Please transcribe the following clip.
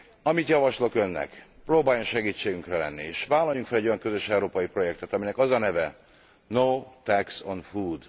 Amit javaslok Önnek próbáljon segítségünkre lenni, és vállaljunk fel egy olyan közös európai projektet, aminek az a neve No tax on food.